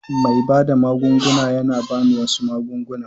Mai bada magunguna ya ba ni wasu magunguna.